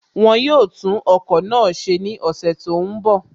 Wọ́n yóò tún ọkọ̀ náà ṣe ní ọ̀sẹ̀ tó ń bọ̀